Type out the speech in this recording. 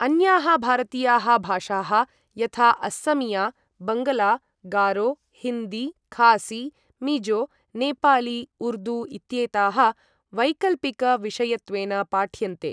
अन्याः भारतीयाः भाषाः यथा अस्समिया, बङ्ग्ला, गारो, हिन्दी, खासी, मिज़ो, नेपाली, उर्दू इत्येताः वैकल्पिक विषयत्वेन पाठ्यन्ते।